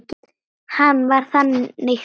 Hann var þannig týpa.